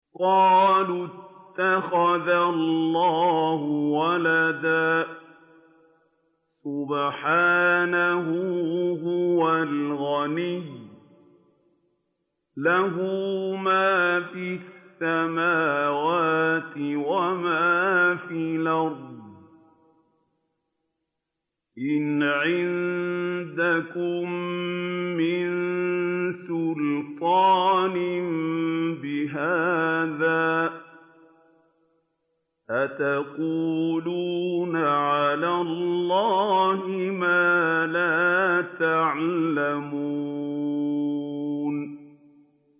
قَالُوا اتَّخَذَ اللَّهُ وَلَدًا ۗ سُبْحَانَهُ ۖ هُوَ الْغَنِيُّ ۖ لَهُ مَا فِي السَّمَاوَاتِ وَمَا فِي الْأَرْضِ ۚ إِنْ عِندَكُم مِّن سُلْطَانٍ بِهَٰذَا ۚ أَتَقُولُونَ عَلَى اللَّهِ مَا لَا تَعْلَمُونَ